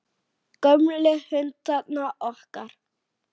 Gömlu hundana okkar.